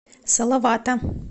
салавата